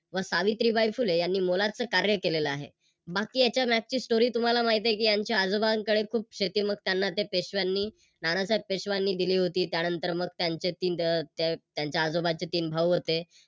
व सावित्रीबाई फुले यांनी मोलाच कार्य केलेल आहे. बाकी याच्या मागची Story तुम्हाला माहित आहे की यांच्या आजोबांकडे खूप शेती होती मग त्यांना ते पेशव्यांनी नानासाहेब पेशव्यांनी दिली होती त्यानंतर मग त्यांचे त्यांच्या आजोबांचे तीन भाऊ होते